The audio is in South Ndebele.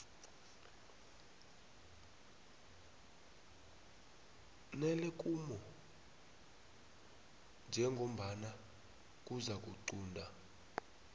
nelemuko njengombana kuzakuqunta